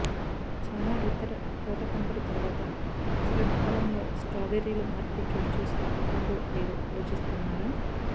చాలా ఇతర తోట పంటలు తర్వాత శరత్కాలంలో స్ట్రాబెర్రీలు మార్పిడి చోటు చేసుకుంటుందో లేదో ఆలోచిస్తున్నారా